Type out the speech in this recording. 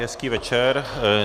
Přeji hezký večer.